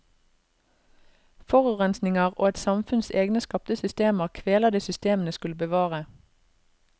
Forurensninger og et samfunns egne skapte systemer kveler det systemene skulle bevare.